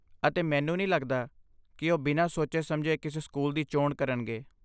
ਅਤੇ ਮੈਨੂੰ ਨਹੀਂ ਲੱਗਦਾ ਕਿ ਉਹ ਬਿਨਾਂ ਸੋਚੇ ਸਮਝੇ ਕਿਸੇ ਸਕੂਲ ਦੀ ਚੋਣ ਕਰਨਗੇ